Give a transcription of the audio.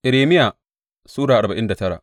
Irmiya Sura arba'in da tara